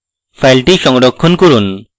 file সংরক্ষণ করুন